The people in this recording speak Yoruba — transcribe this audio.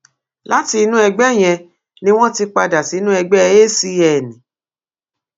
láti inú ẹgbẹ yẹn ni wọn ti padà sínú ẹgbẹ acn